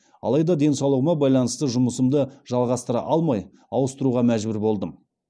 алайда денсаулығыма байланысты жұмысымды жалғастыра алмай ауыстыруға мәжбүр болдым